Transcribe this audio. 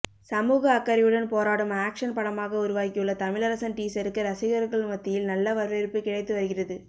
சமூக அக்கறையுடன் போராடும் ஆக்ஷன் படமாக உருவாகியுள்ள தமிழரசன் டீசருக்கு ரசிகர்கள் மத்தியில் நல்ல வரவேற்பு கிடைத்து வருகிறது